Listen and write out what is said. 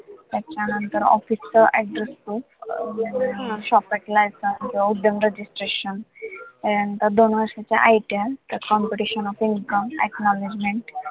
त्याच्यानंतर office च address proof अं licence and registration त्याच्यानंतर दोन वर्षाचा ITR त्यात computation of income, acknowledegment